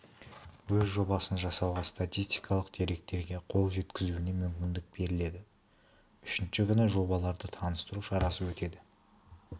өз жобасын жасауға статистикалық деректерге қол жеткізуіне мүмкіндік беріледі үшінші күні жобаларды таныстыру шарасы өтеді